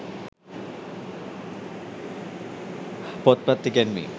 පොත්පත් ඉගැන්වීම්